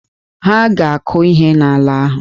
Ha a ga-akụ ihe n'ala ahụ.